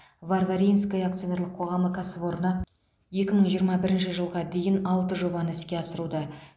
варваринское акционерлік қоғамы кәсіпорны екі мың жиырма бірінші жылға дейін алты жобаны іске асыруда